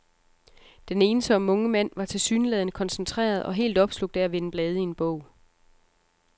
Den ensomme unge mand var tilsyneladende koncentreret og helt opslugt af at vende blade i en bog.